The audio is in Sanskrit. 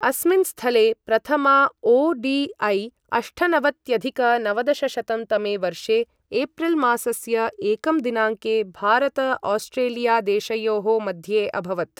अस्मिन् स्थले प्रथमा ओ.डि.ऐ. अष्टनवत्यधिक नवदशशतं तमे वर्षे एप्रिल् मासस्य एकं दिनाङ्के भारत आस्ट्रेलिया देशयोः मध्ये अभवत्।